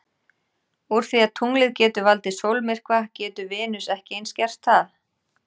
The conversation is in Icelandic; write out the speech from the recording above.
Úr því að tunglið getur valdið sólmyrkva getur Venus ekki eins gert það?